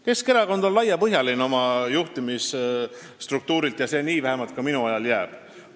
Keskerakond on oma juhtimisstruktuurilt laiapõhjaline ja vähemalt minu ajal see nii ka jääb.